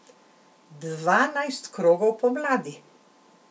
Dvanajst krogov pomladi.